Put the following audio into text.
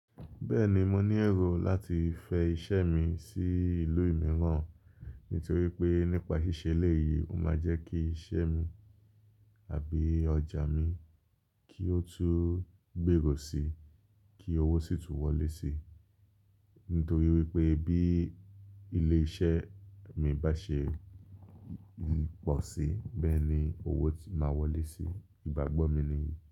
Bẹ́ẹ̀ni, mo ní ẹrù láti fẹ iṣẹ́ mi sí ìlú mìíràn, nítorí pé nípa ṣíṣe eléyìí, ó máa jẹ́ kí iṣẹ́ mi àbí ọjà mi kí ó tún gbèrò síi, kí owó sì tún wọlé síi, nítorí wípé bí ilé iṣẹ́ mi bá ṣe pọ̀ sí, bẹ́ẹ̀ ni owó ti máa wọlé sí, ìgbàgbọ́ mi nìyí.